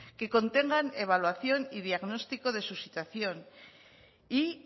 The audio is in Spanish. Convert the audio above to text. que contengan evaluación y diagnóstico de su situación y